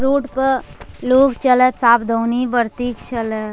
रोड पर लोग चलै त सावधानी बरती के चलै।